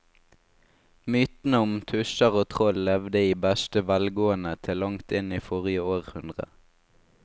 Mytene om tusser og troll levde i beste velgående til langt inn i forrige århundre.